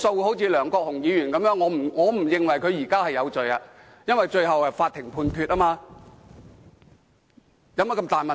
正如梁國雄議員，我不認為他現在有罪，因為最後是由法庭判決的。